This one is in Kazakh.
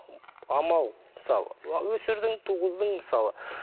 амал мысалы өсірдің туғыздың мысалы